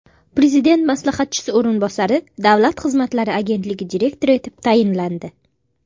Prezident maslahatchisi o‘rinbosari Davlat xizmatlari agentligi direktori etib tayinlandi.